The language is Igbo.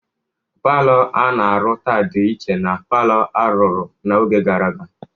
Palọ a na-arụ taa dị iche na palọ a rụrụ n'oge gara aga.